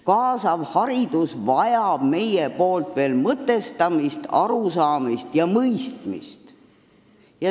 Kaasav haridus vajab veel mõtestamist, arusaamist ja mõistmist.